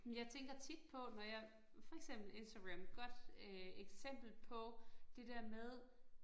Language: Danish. Men jeg tænker tit på, når jeg for eksempel Instagram, godt øh eksempel på det der med